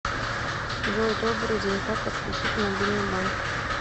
джой добрый день как отключить мобильный банк